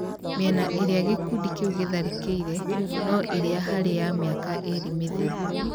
Mĩena ĩrĩa gĩkũndĩ kĩũ gĩtharĩkĩire no ĩrĩa harĩ ya mĩaka ĩrĩ mĩthiru